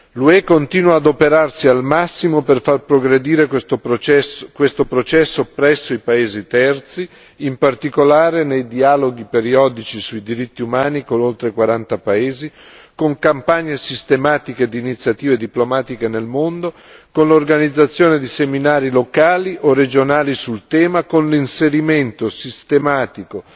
L'UE continua ad adoperarsi al massimo per far progredire questo processo presso i paesi terzi, in particolare nei dialoghi periodici sui diritti umani con oltre quaranta paesi, con campagne sistematiche di iniziative diplomatiche nel mondo, con l'organizzazione di seminari locali o regionali sul tema, con l'inserimento sistematico